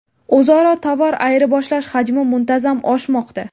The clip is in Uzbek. O‘zaro tovar ayirboshlash hajmi muntazam oshmoqda.